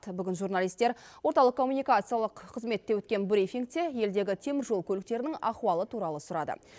бүгін журналистер орталық коммуникациялық қызметте өткен брифингте елдегі теміржол көліктерінің ахуалы туралы сұрады